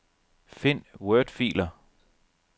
Find wordfiler.